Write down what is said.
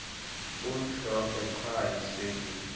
bumhlophe qhwa yiswekile